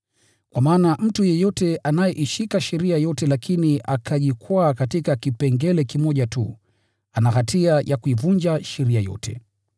Kwa maana mtu yeyote anayeishika sheria yote lakini akajikwaa katika kipengele kimoja tu, ana hatia ya kuivunja sheria yote.